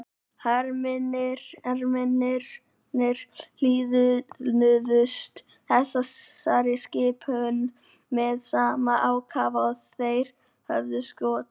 Hermennirnir hlýðnuðust þessari skipun með sama ákafa og þeir höfðu skotið.